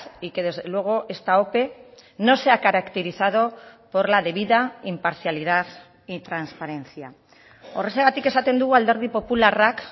y que desde luego esta ope no se ha caracterizado por la debida imparcialidad y transparencia horrexegatik esaten dugu alderdi popularrak